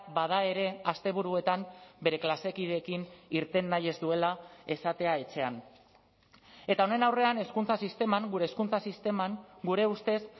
bada ere asteburuetan bere klase kideekin irten nahi ez duela esatea etxean eta honen aurrean hezkuntza sisteman gure hezkuntza sisteman gure ustez